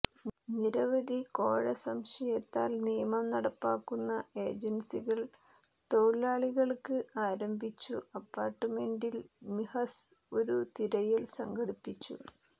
നിരവധി കോഴ സംശയത്താൽ നിയമം നടപ്പാക്കുന്ന ഏജൻസികൾ തൊഴിലാളികൾക്ക് ആരംഭിച്ചു അപ്പാർട്ട്മെന്റിൽ മിഹസ് ഒരു തിരയൽ സംഘടിപ്പിച്ചു